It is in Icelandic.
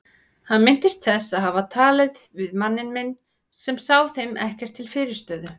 Hann minnist þess að hafa talað við manninn minn sem sá þeim ekkert til fyrirstöðu.